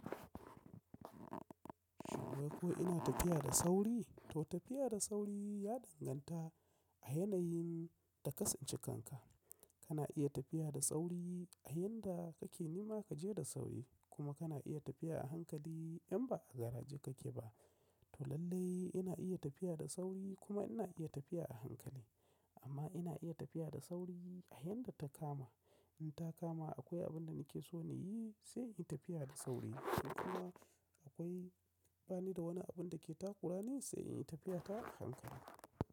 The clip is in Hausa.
Shin kuwa ko ina tafiya da sauri? To tafiya da sauri ya danganta a yanayin da ka tsince kanka. Kana iya tafiya da sauri a yinda kake nima kaje da sauri kuma kana iya tafiya a hankali in ba a garaje kake ba. To lallai ina iya tafiya da sauri kuma ina iya tafiya a hankali. Amma ina iya tafiya da sauri a yayinda ta kama. In ta kama akwai abin da nake so na yi sai in tafiya da sauri. Kuma akwai bani da wani abin da ke takura ni sai in yi tafiya ta a hankali.